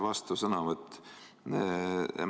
Vastusõnavõtt.